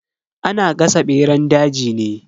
Ana gasa beran daji ne.